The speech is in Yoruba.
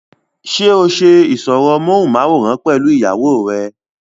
ṣé ó ṣe ìsọ̀rọ̀ móhùnmáwòrán pẹ̀lú ìyàwó rẹ?